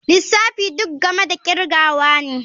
Lissafi duk game da kirgawa ne.